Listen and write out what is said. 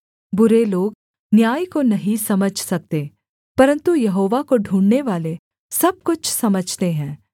बुरे लोग न्याय को नहीं समझ सकते परन्तु यहोवा को ढूँढ़नेवाले सब कुछ समझते हैं